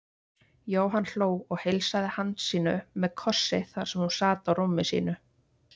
Jóhann hló og heilsaði Hansínu með kossi þar sem hún sat á rúmi sínu.